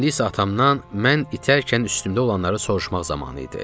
İndi isə atamdan mən itərkən üstümdə olanları soruşmaq zamanı idi.